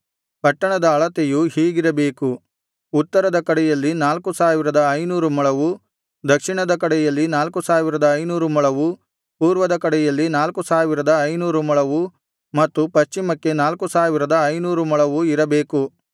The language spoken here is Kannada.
ಪಟ್ಟಣದ ಅಳತೆಯು ಹೀಗಿರಬೇಕು ಉತ್ತರದ ಕಡೆಯಲ್ಲಿ ನಾಲ್ಕು ಸಾವಿರದ ಐನೂರು ಮೊಳವು ದಕ್ಷಿಣದ ಕಡೆಯಲ್ಲಿ ನಾಲ್ಕು ಸಾವಿರದ ಐನೂರು ಮೊಳವು ಪೂರ್ವದ ಕಡೆಯಲ್ಲಿ ನಾಲ್ಕು ಸಾವಿರದ ಐನೂರು ಮೊಳವು ಮತ್ತು ಪಶ್ಚಿಮಕ್ಕೆ ನಾಲ್ಕು ಸಾವಿರದ ಐನೂರು ಮೊಳವು ಇರಬೇಕು